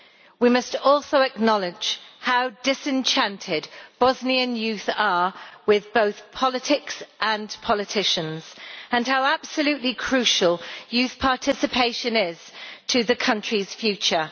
We must also acknowledge how disenchanted Bosnian young people are with both politics and politicians, and how absolutely crucial youth participation is to the country's future.